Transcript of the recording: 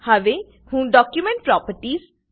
હવે હું document properties